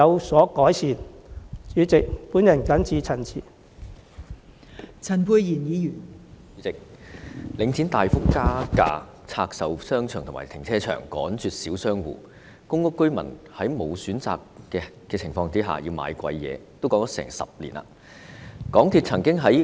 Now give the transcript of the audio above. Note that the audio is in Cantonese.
代理主席，領展房地產投資信託基金大幅加價，拆售商場和停車場，趕絕小商戶，公屋居民在沒有選擇的情況下被迫買貴價貨，情況已持續近10年。